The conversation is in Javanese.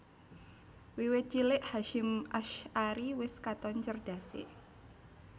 Wiwit cilik Hasyim Asy ari wis katon cerdasé